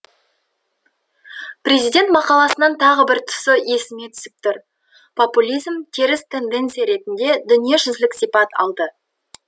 президент мақаласының тағы бір тұсы есіме түсіп тұр популизм теріс тенденция ретінде дүниежүзілік сипат алды